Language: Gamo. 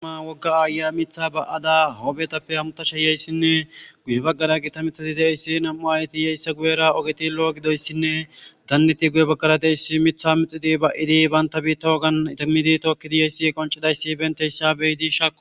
Cima woga ayiya mitha ba'ada ogezape hamutashe yiyasinne guye bagara nam'u ayeti yiyas, esta guyera ogeti lo'o gidoysinne daneti guye bagara diyaysi ,Mitha mixid yoyasi ,ba'd banta bitta wogan idimidi tookidi yiyasi qoncidaysi betiyaysa,beyidi shaakosi.